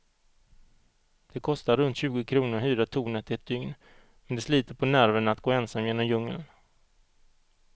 Det kostar runt tjugo kronor att hyra tornet ett dygn, men det sliter på nerverna att gå ensam genom djungeln.